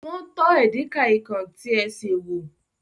Wọ́n tọ́ edikaikong tí ẹ sè wò.